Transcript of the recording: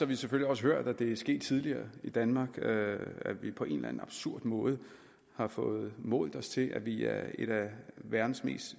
vi selvfølgelig også hørt at det er sket tidligere i danmark at vi på en eller anden absurd måde har fået målt os til at vi er et af verdens